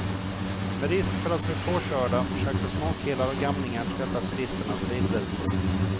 Med risk för att bli påkörda försökte småkillar och gamlingar tvätta turisternas bilrutor.